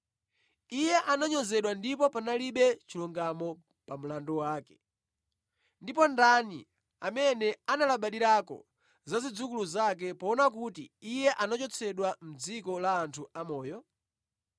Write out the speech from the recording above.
Iye ananyozedwa ndipo panalibe chilungamo pa mlandu wake. Ndipo ndani amene analabadirako za zidzukulu zake poona kuti iye anachotsedwa mʼdziko la anthu amoyo?”